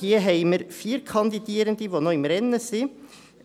Hier haben wir vier Kandidierende, die noch im Rennen sind: